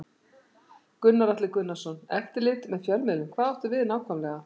Gunnar Atli Gunnarsson: Eftirlit með fjölmiðlum, hvað áttu við nákvæmlega?